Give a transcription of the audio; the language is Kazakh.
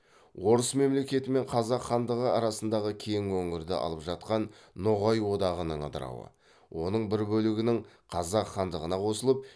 орыс мемлекеті мен қазақ хандығы арасындағы кең өңірді алып жатқан ноғай одағының ыдырауы оның бір бөлігінің қазақ хандығына қосылып